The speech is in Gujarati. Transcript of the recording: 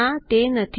ના તે નથી